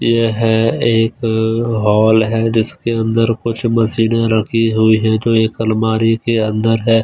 यह एक हॉल है जिसके अंदर कुछ मशीनें रखी हुई है जो एक अलमारी के अंदर है।